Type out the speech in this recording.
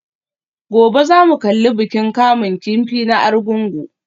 Gobe ​​za ku kalli bikin kamun kifi na Argungu?